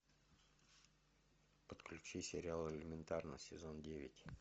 подключи сериал элементарно сезон девять